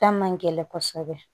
Ta man gɛlɛn kosɛbɛ